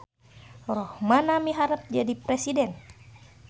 Rohmana miharep jadi presiden